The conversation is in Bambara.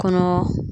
Kɔnɔ